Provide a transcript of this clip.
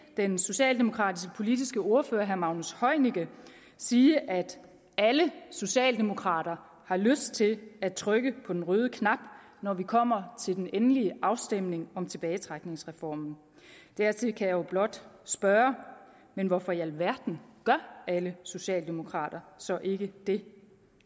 den socialdemokratiske politiske ordfører herre magnus heunicke siger at alle socialdemokrater har lyst til at trykke på den røde knap når vi kommer til den endelige afstemning om tilbagetrækningsreformen dertil kan jeg blot spørge men hvorfor i alverden gør alle socialdemokrater så ikke det